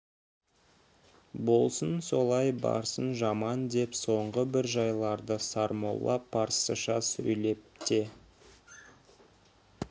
болсын солай барсын жаман деп соңғы бір жайларды сармолла парсыша сөйлеп те